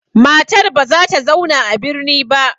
Matar ba za ta zauna a birni ba.